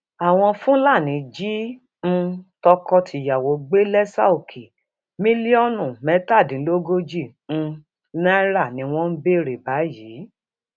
àwọn fúlàní jí um tọkọtìyàwó gbé lẹsàòkè mílíọnù mẹtàdínlógójì um náírà ni wọn ń béèrè báyìí